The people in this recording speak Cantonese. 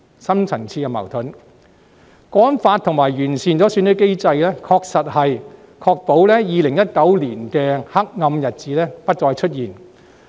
《香港國安法》和完善選舉制度，確實能確保2019年的黑暗日子不再出現。